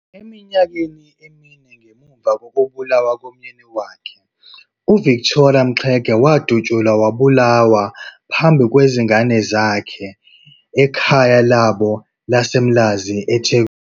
Eminyakeni emine ngemuva kokubulawa komyeni wakhe, uVictoria Mxenge wadutshulwa wabulawa phambi kwezingane zakhe ekhaya labo laseMlazi eThekwini.